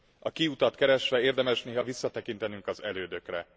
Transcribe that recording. A kiutat keresve érdemes néha visszatekintenünk az elődökre.